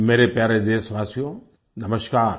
मेरे प्यारे देशवासियो नमस्कार